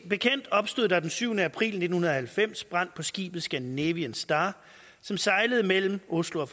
bekendt opstod der den syvende april nitten halvfems brand på skibet scandinavian star som sejlede mellem oslo og